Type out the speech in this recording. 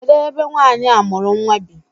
Kedụ ebe nwaanyị a mụrụ nnwa bi?